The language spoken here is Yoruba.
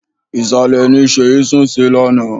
Ìsàlẹ̀ ni Sèyí sùn ní àná.